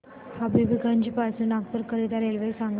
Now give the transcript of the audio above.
हबीबगंज पासून नागपूर करीता रेल्वे सांगा